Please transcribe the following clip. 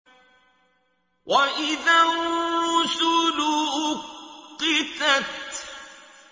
وَإِذَا الرُّسُلُ أُقِّتَتْ